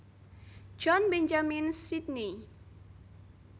John Benjamins Sydney